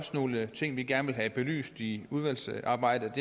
nogle ting vi gerne vil have belyst i udvalgsarbejdet